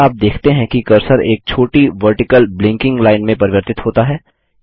क्या आप देखते हैं कि कर्सर एक छोटी वर्टिकल ब्लिंकिंग लाइन में परिवर्तित होता है